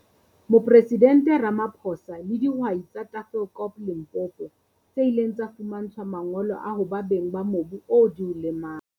Mopresidente Ramaphosa le dihwai tsa Tafelkop, Limpopo, tse ileng tsa fumantshwa mangolo a ho ba beng ba mobu oo di o lemang.